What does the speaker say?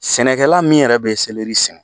Sɛnɛkɛla min yɛrɛ be sɛnɛ